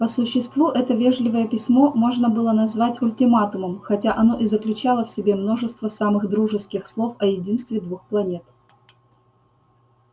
по существу это вежливое письмо можно было назвать ультиматумом хотя оно и заключало в себе множество самых дружеских слов о единстве двух планет